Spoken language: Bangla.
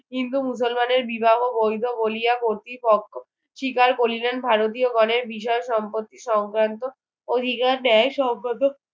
হিন্দু মুসলমানের বিবাহ বৈধ বলিয়া কতৃপক্ষ শিকার করিলেন ভারতীয়গণের বিষয় সম্পত্তি সংক্রান্ত অধিকার সংক্রান্ত